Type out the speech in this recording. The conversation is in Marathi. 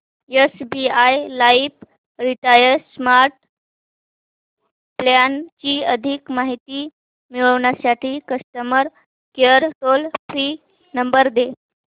SBI life retire smart plan ची अधिक माहिती मिळविण्यासाठी customer care toll free number दे